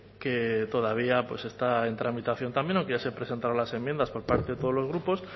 que todavía está en tramitación también aunque ya se presentaron las enmiendas por parte de todos los grupos